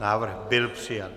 Návrh byl přijat.